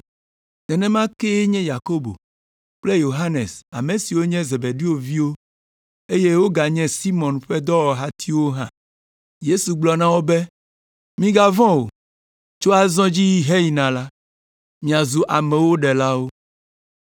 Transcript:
Nenema kee nye Yakobo kple Yohanes ame siwo nye Zebedeo viwo, eye woganye Simɔn ƒe dɔwɔhatiwo hã. Yesu gblɔ na wo be, “Migavɔ̃ o. Tso azɔ dzi heyina la, miazu amewo ɖelawo!”